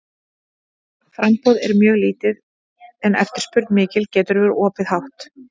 Ef framboð er mjög lítið en eftirspurn mikil getur verðið orðið hátt.